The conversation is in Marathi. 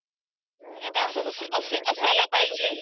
नाहीतर असं असायला पाहिजे